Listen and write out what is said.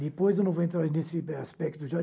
Depois eu não vou entrar nesse aspecto já.